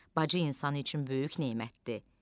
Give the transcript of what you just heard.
Bacı insanı üçün böyük nemətdir.